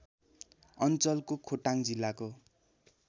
अञ्चलको खोटाङ जिल्लाको